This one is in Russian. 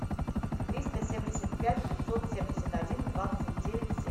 триста семьдесят пять пятьсот семьдесят один двадцать девять семь